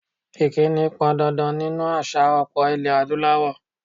Ìkíni pọn dandan nínú àṣà ọlpọ̀ ilé Adúláwọ̀.